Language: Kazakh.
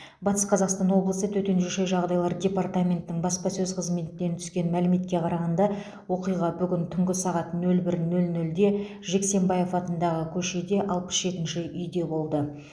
батыс қазақстан облысы төтенше жағдайлар департаментінің баспасөз қызметінен түскен мәліметке қарағанда оқиға бүгін түнгі сағат нөл бір нөл нөлде жексенбаев атындағы көше алпыс жетінші үйде болды